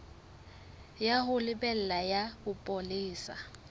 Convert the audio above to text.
ya ho lebela ya bopolesa